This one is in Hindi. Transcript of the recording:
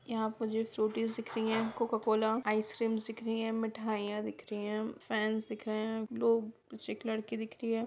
यहा मुझे फ्रूटीस दिख रही है कोको कॉला आइसक्रीम्स दिख रही है मिठाईया दिख रही है फेन्स दिख रहे है लोग पीछे एक लड़की दिख रही है।